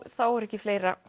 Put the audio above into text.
þá er ekki fleira